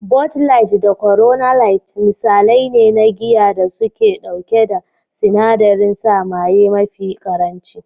"Bud light, da Corona light" misalai ne na giya da suke ɗauke da sinadarin sa maye mafi ƙaranci.